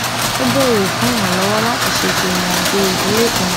ó béèrè fún ìrànlówó láti ṣètò ìrìn àjò ìdílé kan